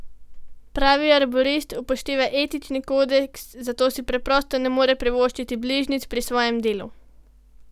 Pravi arborist upošteva etični kodeks, zato si preprosto ne more privoščiti bližnjic pri svojem delu.